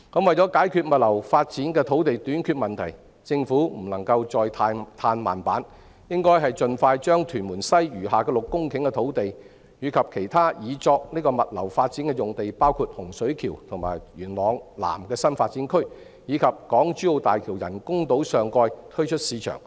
為解決物流發展的土地短缺問題，政府不能再"嘆慢板"，應盡快把屯門西餘下的6公頃土地，以及其他擬作物流發展的用地，包括洪水橋和元朗南的新發展區，以及港珠澳大橋人工島上蓋推出市場。